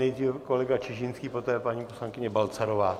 Nejdřív kolega Čižinský, poté paní poslankyně Balcarová.